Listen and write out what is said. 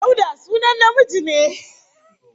Dauda sunan namiji ne